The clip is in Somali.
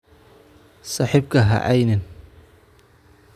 Saaxiibka haceynin